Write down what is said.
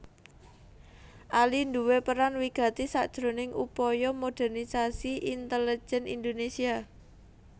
Ali nduwé peran wigati sakjroning upaya modernisasi intelejen Indonesia